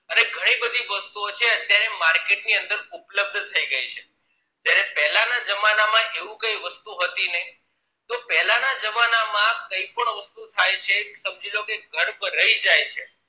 અને ઘણી બધી વસ્તુઓ છે અત્યારે market ની અંદર ઉપ્લબ થઇ ગઈ છે જયારે પેલા ના જમાના માં એવું કઈ વસ્તુ હતી નહી તો પેલા ના જમાના કઈ પણ વસ્તુ થાય છે સમજીલો કે ગર્ભ રહી જાય છે